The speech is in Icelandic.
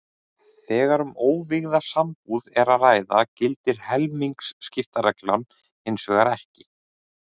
Þegar um óvígða sambúð er að ræða gildir helmingaskiptareglan hins vegar ekki.